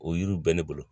O yiriw bɛ ne bolo